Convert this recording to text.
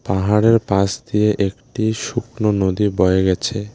পাহাড়ের পাশ দিয়ে একটি শুকনো নদী বয়ে গেছে।